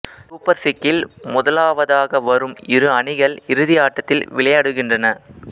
super சிக்சில் முதலாவதாக வரும் இரு அணிகள் இறுதி ஆட்டத்தில் விளையாடுகின்றன